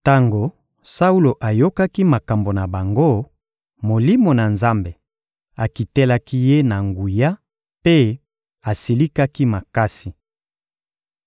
Tango Saulo ayokaki maloba na bango, Molimo na Nzambe akitelaki ye na nguya mpe asilikaki makasi.